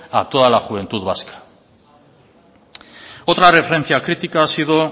a toda la juventud vasca otra referencia crítica ha sido